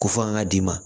Ko fo an ka d'i ma